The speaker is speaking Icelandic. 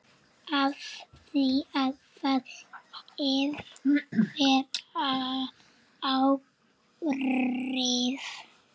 Hafði það einhver áhrif?